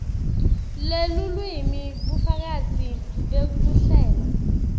lelulwimi bufakazi bekuhlela